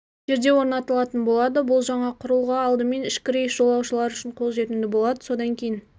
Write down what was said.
жерде орнатылатын болады бұл жаңа құрылғы алдымен ішкі рейс жолаушылары үшін қолжетімді болады содан кейін